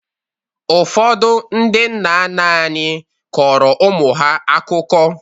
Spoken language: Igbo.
Ụfọdụ ndị nna nna anyị kọrọ ụmụ ha akụkọ.